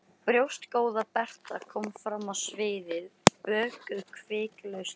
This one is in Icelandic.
Brjóstgóða Berta kom fram á sviðið, böðuð hvikulu ljósi.